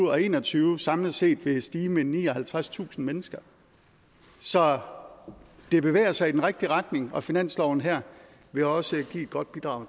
og en og tyve samlet set vil stige med nioghalvtredstusind mennesker så det bevæger sig i den rigtige retning og finansloven her vil også give et godt bidrag